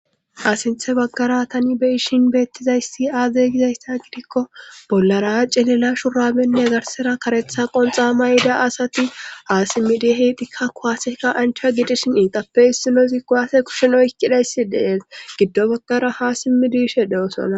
Asinthe baggara tani beyishin beettizayssi aade gizaysta gidikko bollara cilila shuramenne zarsera karetha qonxa mayda asati aasimidi heytikka kuwaasekka anchaa gidishin iitappe issinosi kuwaase kushen oyikkidayssi dees giddo baggara ha simidishe de'osona.